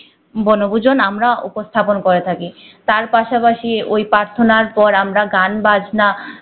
বনভূজন আমরা উপস্থাপন করে থাকি তার পাশাপাশি ঐ প্রাথণা পর আমরা গান বাজনা